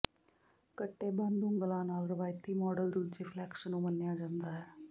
ਕੱਟੇ ਬੰਦ ਉਂਗਲਾਂ ਨਾਲ ਰਵਾਇਤੀ ਮਾਡਲ ਦੂਜੇ ਫਲੈਂਕਸ ਨੂੰ ਮੰਨਿਆ ਜਾਂਦਾ ਹੈ